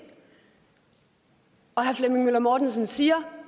og herre flemming møller mortensen siger